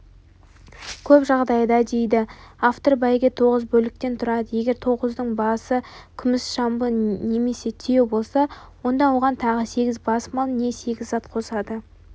көп жағдайда дейді автор бәйге тоғыз бөліктен тұрады егер тоғыздың басы күміс жамбы немесе түйе болса онда оған тағы сегіз бас мал не сегіз зат қосады